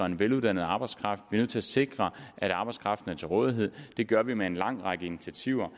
en veluddannet arbejdskraft nødt til at sikre at arbejdskraften er til rådighed det gør vi med en lang række initiativer